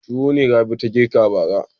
Tuwo ne Rabi ta girka bara.